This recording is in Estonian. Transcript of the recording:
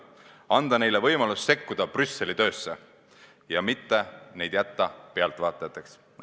Andke neile võimalus sekkuda Brüsseli töösse, ärge jätke neid pealtvaatajateks.